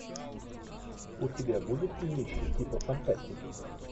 у тебя будет кинище типа фантастики